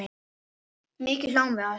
Mikið hlógum við að þessu.